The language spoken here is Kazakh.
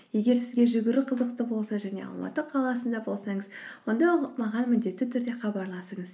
егер сізге жүгіру қызықты болса және алматы қаласында болсаңыз онда маған міндетті түрде хабарласыңыз